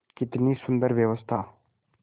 कितनी सुंदर व्यवस्था